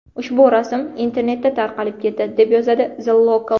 Ushbu rasm internetda tarqalib ketdi, deb yozadi The Local.